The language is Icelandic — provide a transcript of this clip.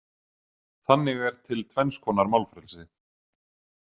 Þannig er til tvenns konar málfrelsi.